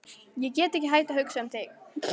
Ég get ekki hætt að hugsa um þig.